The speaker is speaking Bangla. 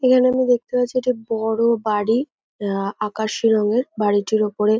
এখানে আমি দেখতে পাচ্ছি একটি বড়ো বাড়ি। আহ আকাশী রঙের। বাড়িটির উপরে--